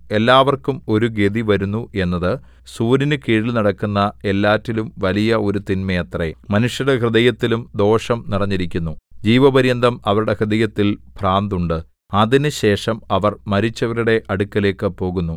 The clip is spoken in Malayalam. എല്ലാവർക്കും ഒരു ഗതി വരുന്നു എന്നത് സൂര്യനുകീഴിൽ നടക്കുന്ന എല്ലാറ്റിലും വലിയ ഒരു തിന്മയത്രേ മനുഷ്യരുടെ ഹൃദയത്തിലും ദോഷം നിറഞ്ഞിരിക്കുന്നു ജീവപര്യന്തം അവരുടെ ഹൃദയത്തിൽ ഭ്രാന്തുണ്ട് അതിന് ശേഷം അവർ മരിച്ചവരുടെ അടുക്കലേക്ക് പോകുന്നു